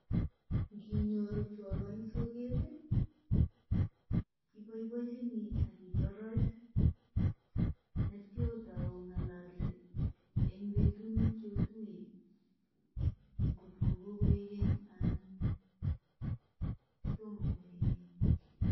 Nginyoru chorwa en soget ii, iboiboenjini ak itoroch ak kityo ot ong'ololse en betut ne kiotuye kotko kokoik keny anan tomo koik keny.